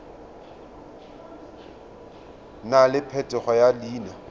nna le phetogo ya leina